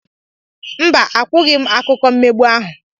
Mba, akwụghị m akụkọ mmegbu ahụ